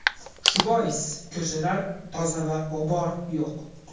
Shu bois ko‘chalar toza va g‘ubor yo‘q.